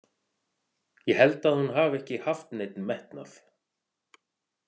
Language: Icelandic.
Ég held að hún hafi ekki haft neinn metnað.